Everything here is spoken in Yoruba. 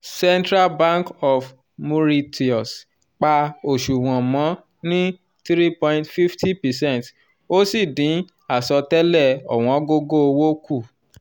central bank of mauritius pa oṣuwọn mọ ni 3.50 percent ó sì dín asọtẹlẹ owongogo owo kù